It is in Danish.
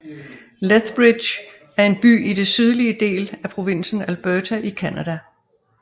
Lethbridge er en by i den sydlige del af provinsen Alberta i Canada